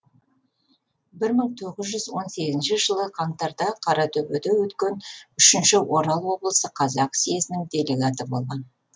бір мың тоғыз жүз он сегізінші жылы қаңтарда қаратөбеде өткен үшінші орал облысы қазақ съезінің делегаты болған